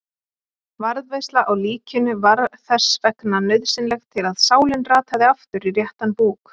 Varðveisla á líkinu var þess vegna nauðsynleg til að sálin rataði aftur í réttan búk.